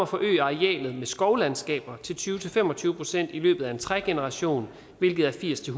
forøget arealet med skovlandskaber til tyve til fem og tyve procent i løbet af en trægeneration hvilket er firs til